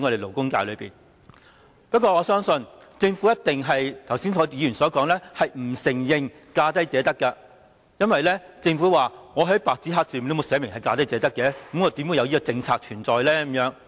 不過，正如議員剛才所說，我相信政府一定不承認奉行"價低者得"原則，因為政府說沒有白紙黑字寫明"價低者得"，何來有這個政策存在。